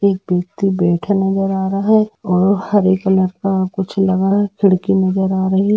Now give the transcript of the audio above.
एक व्यक्ति बैठा नज़र आ रहा है और हरे कलर का कुछ लगा है खिड़की नज़र आ रही है।